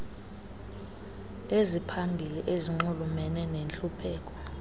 eziphambili ezinxulumene nentlupheko